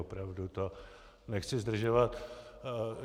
Opravdu to nechci zdržovat.